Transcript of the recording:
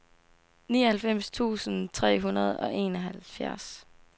nioghalvfems tusind tre hundrede og enoghalvfjerds